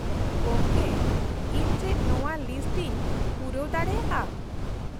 ᱜᱚᱝᱠᱮ ᱤᱧ ᱪᱮᱫ ᱱᱚᱶᱟ ᱞᱤᱥᱴ ᱤᱧ ᱯᱩᱨᱟᱹᱣ ᱫᱟᱲᱮᱭᱟᱜᱼᱟ ?